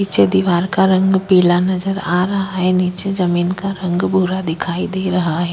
पीछे दीवार का रंग पीला नजर आ रहा है। नीचे जमीन का रंग भूरा दिखाई दे रहा है।